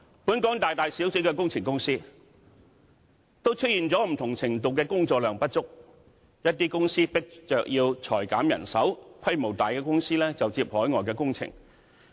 本港大大小小的工程公司，都出現不同程度的工作量不足，一些公司被迫裁減人手，規模大的公司就接海外工程。